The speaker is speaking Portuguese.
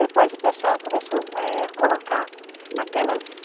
Depois o pessoal começou eh, a colocar aquelas